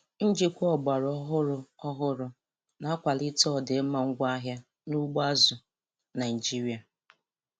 Njikwa ọgbara ọhụrụ ọhụrụ na-akwalite ọdịmma ngwaahịa n'ugbo azụ̀ Naịjiria.